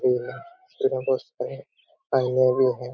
और पीला वस्त्र पहने भी है ।